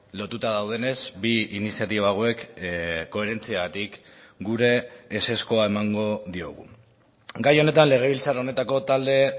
lotuta daudenez bi iniziatiba hauek koherentziagatik gure ezezkoa emango diogu gai honetan legebiltzar honetako talde